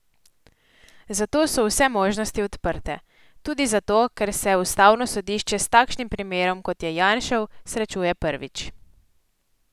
Zato so vse možnosti odprte, tudi zato, ker se ustavno sodišče s takšnim primerom, kot je Janšev, srečuje prvič.